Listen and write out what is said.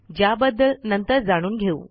ज्याबद्दल नंतर जाणून घेऊ